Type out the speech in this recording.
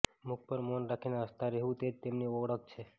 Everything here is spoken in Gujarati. મુખ પર મૌન રાખીને હસતા રહેવું તે જ તેમની ઓળખ છે